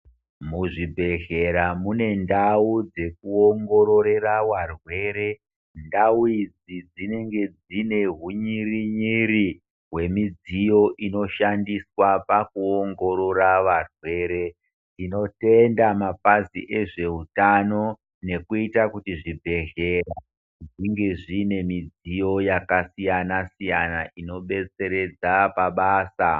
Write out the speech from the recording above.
Muzvibhedhleya mune ndau dzekuongorera varwere , ndau idzi dzinenge dzine hunyere nyere hwemidziyo inoshandiswa pakuongorora varwere . Ndinotenda mapazi ezve utano nekuita kuti zvibhedhlera zvinge zviine midziyo yakasiyana siyana inobetseredza pabasa.